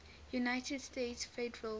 united states federal